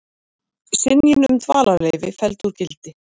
Synjun um dvalarleyfi felld úr gildi